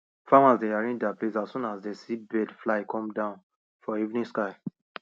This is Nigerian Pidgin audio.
farmers dey arrange their place as soon as dem see birds fly come down for evening sky